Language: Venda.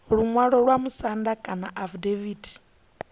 luṅwalo lwa vhamusanda kana afidaviti